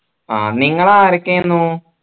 ആ നിങ്ങൾ ആരൊക്കെ ആയിരുന്നു